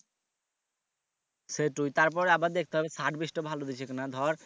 সেইটোই তারপর আবার দেখতে হবে service টা ভালো দিচ্ছে কিনা ধর